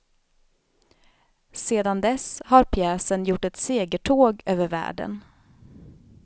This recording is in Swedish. Sedan dess har pjäsen gjort ett segertåg över världen.